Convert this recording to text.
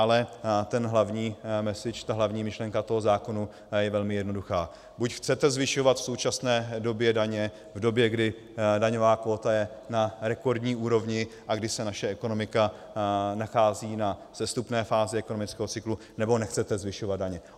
Ale ten hlavní message, ta hlavní myšlenka toho zákona je velmi jednoduchá - buď chcete zvyšovat v současné době daně, v době, kdy daňová kvóta je na rekordní úrovni a kdy se naše ekonomika nachází na sestupné fázi ekonomického cyklu, nebo nechcete zvyšovat daně.